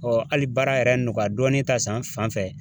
hali baara yɛrɛ nɔgɔya dɔɔnin ta san fanfɛ.